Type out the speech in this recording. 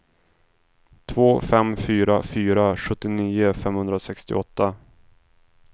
två fem fyra fyra sjuttionio femhundrasextioåtta